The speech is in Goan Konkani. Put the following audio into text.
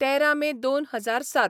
तेरा मे दोन हजार सात